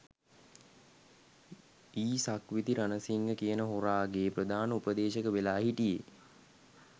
යි සක්විති රණසිංහ කියන හොරාගේ ප්‍රධාන උපදේශක වෙලා හිටියෙ.